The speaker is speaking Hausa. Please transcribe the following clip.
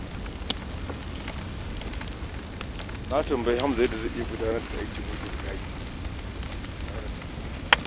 Na tambayi Hamza yadda zai iya gudanar da aikin wucin-gadi tare da kasuwancina.